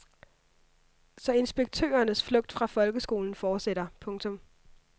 Så inspektørernes flugt fra folkeskolen fortsætter. punktum